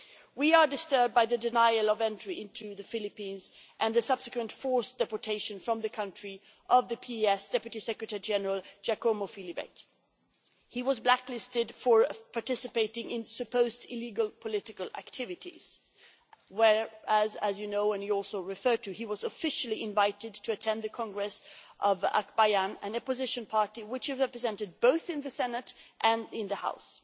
We are disturbed by the denial of entry into the Philippines and the subsequent forced deportation from the country of the PES Group Deputy Secretary General Giacomo Filibeck. He was blacklisted for participating in supposed illegal political activities, where as you know and you also referred to, he was officially invited to attend the congress of Akbayan, an opposition party which is represented both in the Senate and in the House.